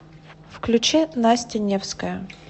включи настя невская